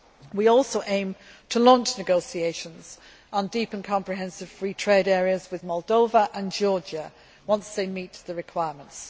We also aim to launch negotiations on deep and comprehensive free trade areas with Moldova and Georgia once they meet the requirements.